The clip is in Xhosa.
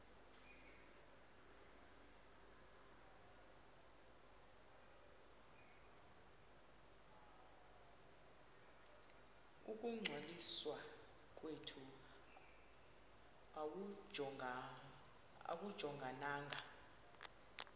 ukungcwaliswa kwethu akujongananga